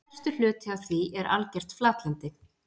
Stærstur hluti af því er algert flatlendi.